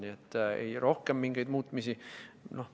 Nii et ei, rohkem mingit muutmist.